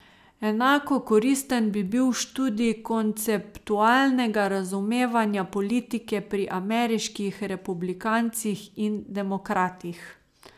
Enako koristen bi bil študij konceptualnega razumevanja politike pri ameriških republikancih in demokratih.